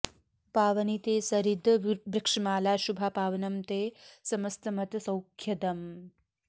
पावनी ते सरिद् वृक्षमाला शुभा पावनं ते समस्त मत सौख्यदम्